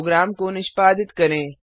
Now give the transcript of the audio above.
programme को निष्पादित करें